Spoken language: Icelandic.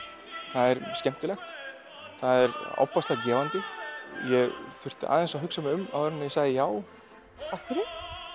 það er skemmtilegt það er ofboðslega gefandi ég þurfti aðeins að hugsa mig um áður en ég sagði já af hverju